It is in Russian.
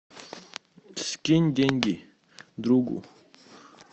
скинь деньги другу